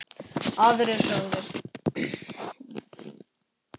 Aðrir sögðu